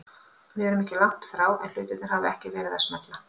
Við erum ekki langt frá en hlutirnir hafa ekki verið að smella.